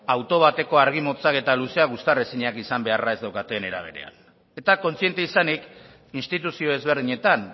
auto bateko argi motzak eta luzeak uztar ezinak izan beharra ez daukaten era berean eta kontziente izanik instituzio ezberdinetan